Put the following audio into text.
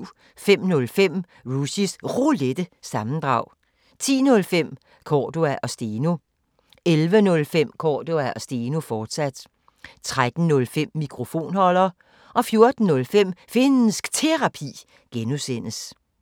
05:05: Rushys Roulette – sammendrag 10:05: Cordua & Steno 11:05: Cordua & Steno, fortsat 13:05: Mikrofonholder 14:05: Finnsk Terapi (G)